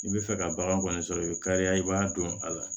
I bɛ fɛ ka bagan kɔni sɔrɔ i bɛ kariya i b'a don a la